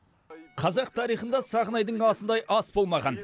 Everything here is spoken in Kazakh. қазақ тарихында сағынайдың асындай ас болмаған